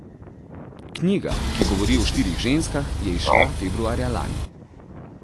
Knjiga, ki govori o štirih ženskah, je izšla februarja lani.